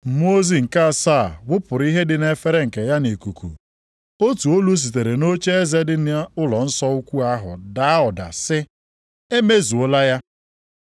Mmụọ ozi nke asaa wụpụrụ ihe dị nʼefere nke ya nʼikuku, otu olu sitere nʼocheeze dị nʼụlọnsọ ukwu ahụ daa ụda sị, “Emezuola ya!”